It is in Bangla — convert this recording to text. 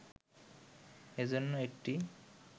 এজন্য একটি